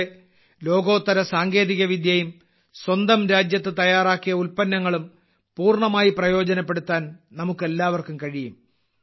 ഇതോടെ ലോകോത്തര സാങ്കേതിക വിദ്യയും സ്വന്തം രാജ്യത്ത് തയ്യാറാക്കിയ ഉൽപ്പന്നങ്ങളും പൂർണമായി പ്രയോജനപ്പെടുത്താൻ നമുക്കെല്ലാവർക്കും കഴിയും